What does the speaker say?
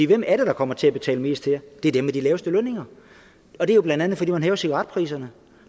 hvem er det der kommer til at betale mest her det er dem med de laveste lønninger og det er jo blandt andet fordi man hæver cigaretpriserne